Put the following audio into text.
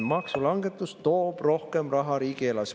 Maksulangetus toob rohkem raha riigieelarvesse.